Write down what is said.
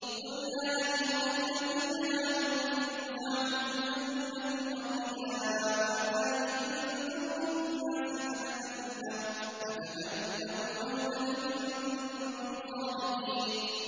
قُلْ يَا أَيُّهَا الَّذِينَ هَادُوا إِن زَعَمْتُمْ أَنَّكُمْ أَوْلِيَاءُ لِلَّهِ مِن دُونِ النَّاسِ فَتَمَنَّوُا الْمَوْتَ إِن كُنتُمْ صَادِقِينَ